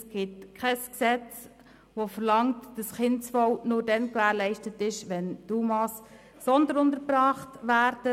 Es gibt kein Gesetz, das besagt, dass das Kindeswohl nur dann gewährleistet ist, wenn die UMA «sonderuntergebracht» werden.